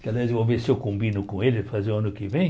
Que, aliás, eu vou ver se eu combino com ele fazer o ano que vem.